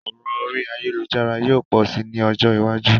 Òràn orí ayélujára yio pò si ni ojó iwájú